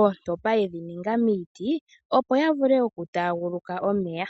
ootompa yedhi ninga miiti opo ya vule okutaaguluka omeya.